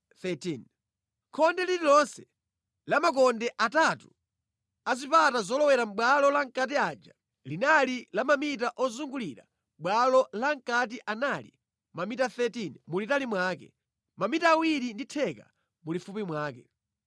(Khonde lililonse la makonde atatu a zipata zolowera bwalo lamʼkati aja linali la mamita ozungulira mʼbwalo lamʼkati anali mamita 13 mulitali mwake, mamita awiri ndi theka mulifupi mwake).